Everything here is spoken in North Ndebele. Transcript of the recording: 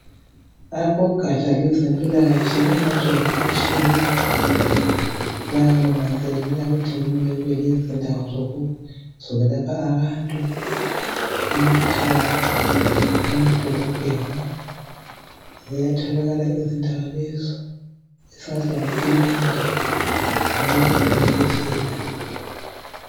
Abogatsha lwezempilakahle emazweni atshiyeneyo bayakunanzelela ukuthi kumele kube lezindawo zokulapha abantu emakhaya, emadolobheni ziyatholakala izindawo lezo esingathi ngamakilinika kumbeni izibhedlela.